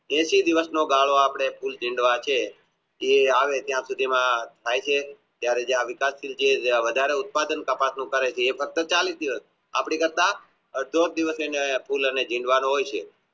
એંશી દિવસ નો ગાળો આપણે ફૂલ ડીંડવા છે એ આવે ત્યાં સુધી માં ફૂલ અને ડીંડવાનો હોય છે